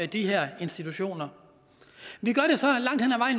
de her institutioner